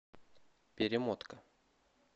перемотка